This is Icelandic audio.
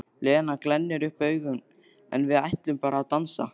Lena glennir upp augun: En við ætlum bara að dansa.